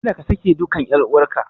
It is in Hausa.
Kada ka sake dukan ƴar uwarka.